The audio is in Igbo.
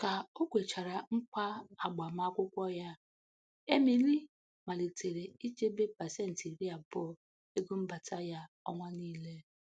Ka o kwechara nkwa agbamakwukwọ ya, Emily malitere ichebe pasenti iri abụọ ego mbata ya ọnwa niile.